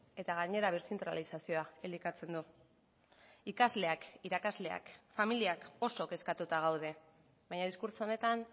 eta gainera berzentralizazioa elikatzen du ikasleak irakasleak familiak oso kezkatuta gaude baina diskurtso honetan